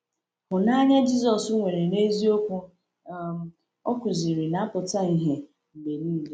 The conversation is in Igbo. Hụnanya Jisọs nwere n’eziokwu um o kụziri na-apụta ìhè mgbe niile.